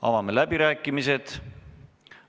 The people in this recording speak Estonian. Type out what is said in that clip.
Avan läbirääkimised.